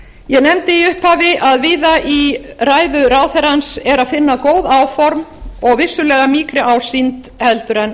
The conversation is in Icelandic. ég nefndi í upphafi að víða í ræðu ráðherrans er að eiga góð áform og vissulega mýkri ásýnd en